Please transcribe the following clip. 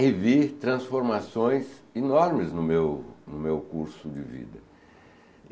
Revi transformações enormes no meu no meu curso de vida.